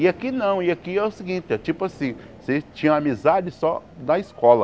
E aqui não, e aqui é o seguinte, é tipo assim, vocês tinham amizade só da escola.